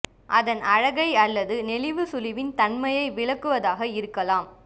அதன் அழகை அல்லது நெளிவு சுளிவின் தன்மையை விளக்குவதாக இருக்கலாம்